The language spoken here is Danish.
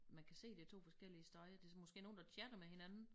Man kan se det 2 forskellige steder det måske nogle der chatter med hinanden